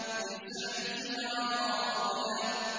لِّسَعْيِهَا رَاضِيَةٌ